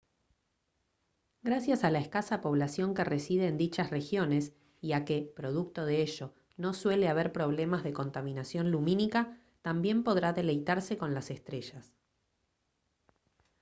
gracias a la escasa población que reside en dichas regiones y a que producto de ello no suele haber problemas de contaminación lumínica también podrá deleitarse con las estrellas